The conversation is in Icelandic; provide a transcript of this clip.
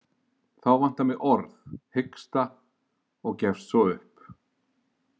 Þá vantar mig orð, hiksta og gefst svo upp.